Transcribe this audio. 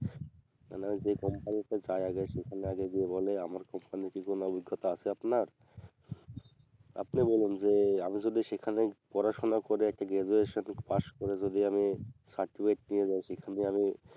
মানে আমি যেই company তে যাই আগে সেখানে আগে গিয়ে বলে আমার company র কি কোনো অভিজ্ঞতা আছে আপনার আপনি বলুন যে আমি যদি সেখানে পড়াশুনা করে একটা graduation পাশ করে যদি আমি certificate পেয়ে যাই সেখানে আমি